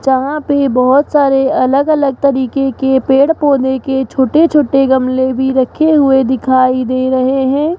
जहां पे बहोत सारी अलग अलग तरीके के पेड़ पोधै के छोटे छोटे गमले भी रखे हुए दिखाई दे रहे हैं।